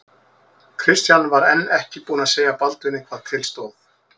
Christian var enn ekki búinn að segja Baldvini hvað til stóð.